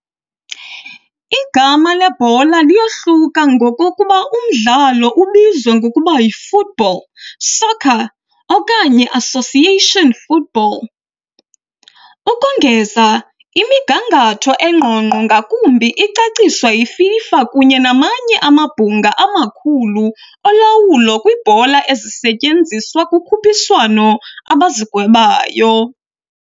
Igama lebhola liyohluka ngokokuba umdlalo ubizwa ngokuba yi "football", "soccer", okanye "association football". Ukongeza, imigangatho engqongqo ngakumbi icaciswa yiFIFA kunye namanye amabhunga amakhulu olawulo kwiibhola ezisetyenziswa kukhuphiswano abazigwebayo.